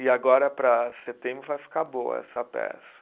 E agora para setembro vai ficar boa essa peça.